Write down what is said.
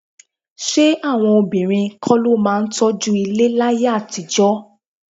Ṣé àwọn obìnrin kọ́ ló máa ń tọ́jú ilé láyé àtijọ́?